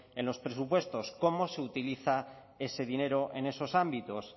en los presupuestos cómo se utiliza ese dinero en esos ámbitos